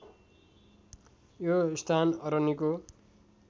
यो स्थान अरनिको